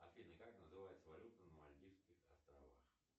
афина как называется валюта на мальдивских островах